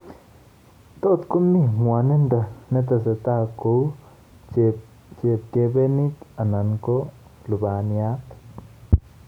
Tot komii ng'wonindo netesetai kouu chepkebenit ala ko lubaniat